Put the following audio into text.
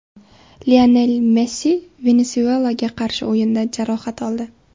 Lionel Messi Venesuelaga qarshi o‘yinda jarohat oldi.